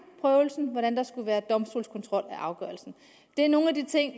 prøvelsen og hvordan der skulle være domstolskontrol af afgørelsen det er nogle af de ting